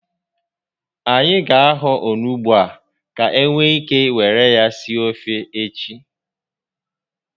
Anyị ga ahọ onugbu a ka e nwee ike were ya sie ofe echi